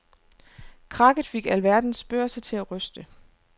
Krakket fik alverdens børser til at ryste.